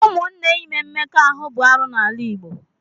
Ụmụnne ime mmekọahụ bụ arụ n'ala Igbo.